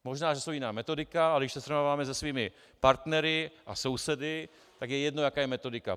Možná že je jiná metodika, ale když to srovnáváme se svými partnery a sousedy, tak je jedno, jaká je metodika.